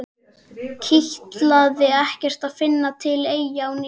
Kitlaði ekkert að fara til Eyja á ný?